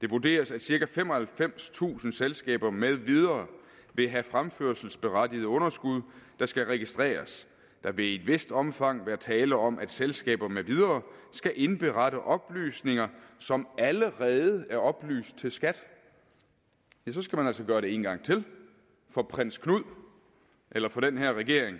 det vurderes at cirka femoghalvfemstusind selskaber med videre vil have fremførselsberettigede underskud der skal registreres der vil i et vist omfang være tale om at selskaber med videre skal indberette oplysninger som allerede er oplyst til skat ja så skal man altså gøre det en gang til for prins knud eller for den her regering